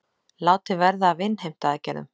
Látið verði af innheimtuaðgerðum